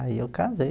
Aí eu casei.